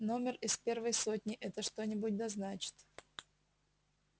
номер из первой сотни это что-нибудь да значит